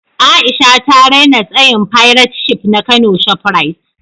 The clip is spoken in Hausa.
A’isha ta raina tsayin fairat shif na kano shoprite.